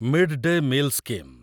mid day meal scheme